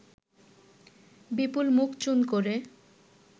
বিপুল মুখ চুন করে